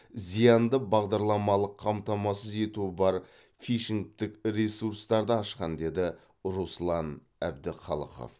зиянды бағдарламалық қамтамасыз ету бар фишингтік ресурстарды ашқан деді руслан әдіқалықов